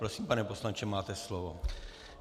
Prosím, pane poslanče, máte slovo.